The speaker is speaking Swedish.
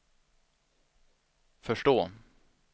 förstå